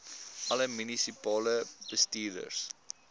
alle munisipale bestuurders